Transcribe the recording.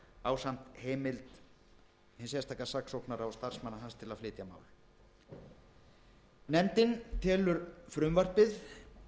ásamt heimild hins sérstaka saksóknara og starfsmanna hans til að flytja mál nefndin telur frumvarpið